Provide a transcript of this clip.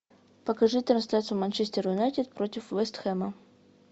покажи трансляцию манчестер юнайтед против вест хэма